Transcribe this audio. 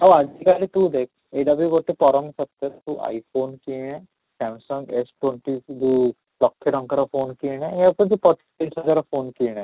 ଆଉ ଆଜି କାଲି ତୁ ଦେଖ ଏଇଟା ବି ଗୋଟେ ପରମ ସତ୍ୟ ତୁ I phone କିଣେ Samsung S twenty କି ଯୋଉ ଲକ୍ଷେ ଟଙ୍କାର phone କିଣେ ଏହାଠୁ ଭଲ ପଚିଶ ହଜାରର phone କିଣେ